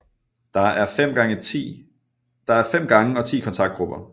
Der er 5 gange og 10 kontaktgrupper